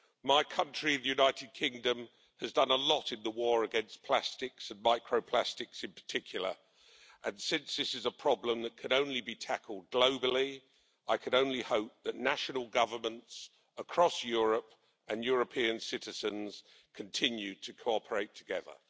My country, the United Kingdom, has done a lot in the war against plastics and micro plastics in particular, and since this is a problem that can only be tackled globally, I can only hope that national governments across Europe and European citizens continue to cooperate together.